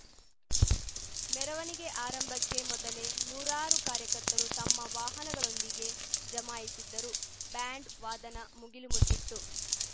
ಮೆರವಣಿಗೆ ಆರಂಭಕ್ಕೆ ಮೊದಲೇ ನೂರಾರು ಕಾರ್ಯಕರ್ತರು ತಮ್ಮ ವಾಹನಗಳೊಂದಿಗೆ ಜಮಾಯಿಸಿದ್ದರು ಬ್ಯಾಂಡ್‌ ವಾದನ ಮುಗಿಲು ಮುಟ್ಟಿತ್ತು